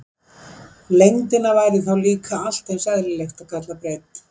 Lengdina væri þá líka allt eins eðlilegt að kalla breidd.